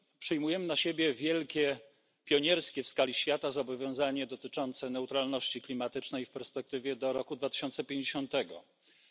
Przyjmujemy na siebie wielkie, pionierskie w skali świata zobowiązanie dotyczące neutralności klimatycznej w perspektywie 2050 r.